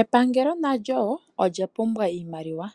Epangelo nalyo olya pumbwa iimaliwa